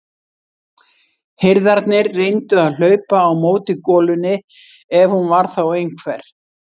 Hirðarnir reyndu að hlaupa á móti golunni ef hún var þá einhver.